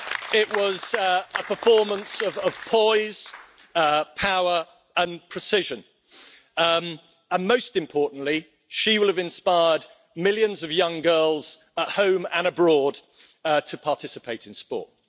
It was a performance of poise, power and precision and, most importantly, she will have inspired millions of young girls at home and abroad to participate in sport.